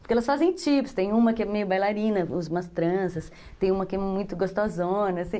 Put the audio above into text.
Porque elas fazem tipos, tem uma que é meio bailarina, usa umas tranças, tem uma que é muito gostosona, assim.